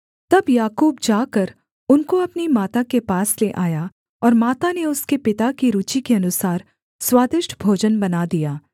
तब याकूब जाकर उनको अपनी माता के पास ले आया और माता ने उसके पिता की रूचि के अनुसार स्वादिष्ट भोजन बना दिया